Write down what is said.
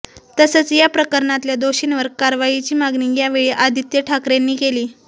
तसंच या प्रकरणातल्या दोषींवर कारवाईची मागणी यावेळी आदित्य ठाकरेंनी केली